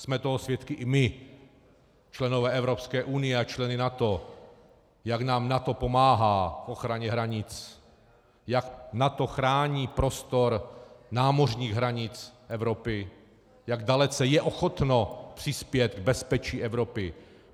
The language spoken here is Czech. Jsme toho svědky i my, členové Evropské unie a členové NATO, jak nám NATO pomáhá k ochraně hranic, jak NATO chrání prostor námořních hranic Evropy, jak dalece je ochotno přispět k bezpečí Evropy.